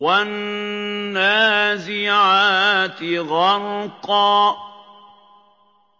وَالنَّازِعَاتِ غَرْقًا